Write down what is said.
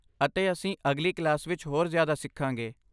ਅਤੇ ਅਸੀਂ ਅਗਲੀ ਕਲਾਸ ਵਿੱਚ ਹੋਰ ਜ਼ਿਆਦਾ ਸਿੱਖਾਂਗੇ।